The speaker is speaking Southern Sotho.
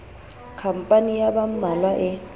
khampani ya ba mmalwa e